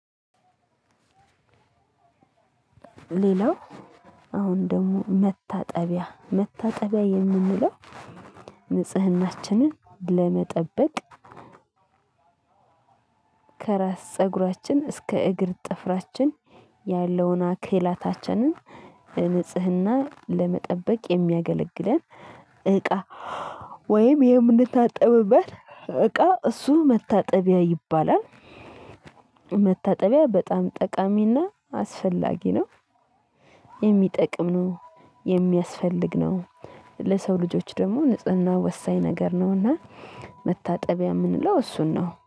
ሌላው አሁን ደግሞ መታጠቢያ መታጠቢያ የምንለው ንጽህናችንን ለመጠበቅ ከራስ ፀጉራችን እስከ እግር ጥፍራችን ያለውን አካላታችንን ንጽህና ለመጠበቅ የሚያገለግለን እቃ። ወይም የምንታጠብበት እቃ እሱ መታጠቢያ ይባላል። መታጠቢያ በጣም ጠቃሚና አስፈላጊ ነው። የሚጠቅም ነው የሚያስፈልግ ነው። ለሰው ልጆች ደግሞ ንጽህና ወሳኝ ነገር እና መታጠቢያ የምንለው እሱን ነው